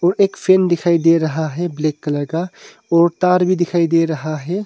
एक फैन दिखाई दे रहा है ब्लैक कलर का और तार भी दिखाई दे रहा है।